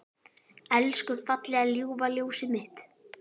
Elsku fallega ljúfa ljósið mitt.